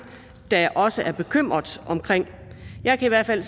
der også er bekymret om jeg kan i hvert fald